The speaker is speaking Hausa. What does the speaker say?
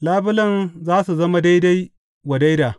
Labulen za su zama daidai wa daida.